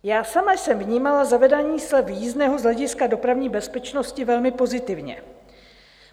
Já sama jsem vnímala zavedení slev jízdného z hlediska dopravní bezpečnosti velmi pozitivně.